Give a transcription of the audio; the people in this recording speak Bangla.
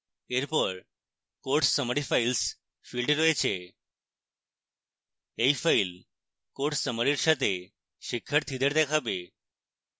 এরপর course summary files field রয়েছে